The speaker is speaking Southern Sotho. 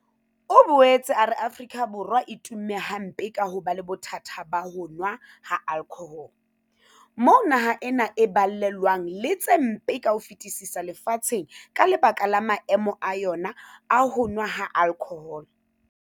O boetse a re Afrika Borwa e tumme hampe ka ho ba le bothata ba ho nowa ha alkhohole, moo naha ena e balellwang le tse mpe ka ho fetisisa lefatsheng ka lebaka la maemo a yona a ho nowa ha alkhohole.